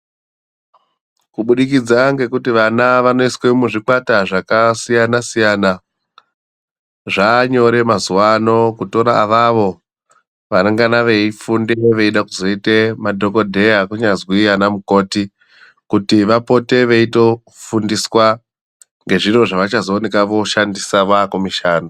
Kubudikidza ngekuti vana vanoiswe muzvikwata zvakasiyana siyana zvaanyorwe mazuwa ano kutore avavo Vanengana veifunde veide kuzoite madhokodheya kunyazwi ana mukoti kuti vapote veitofundiswa ngezviro zvavachazooneka voshandiswa vakumishando.